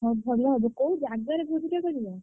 ହଁ ଭାଲ ହବ କୋଉ ଜାଗାରେ ବୁଝିଛ କରିବ?